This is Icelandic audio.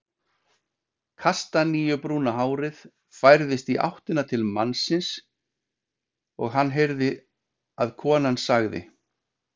Kastaníubrúna hárið færðist í áttina til mannsins og hann heyrði að konan sagði